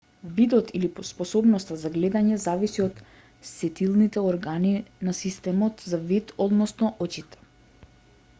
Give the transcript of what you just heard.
видот или способноста за гледање зависи од сетилните органи на системот за вид односно очите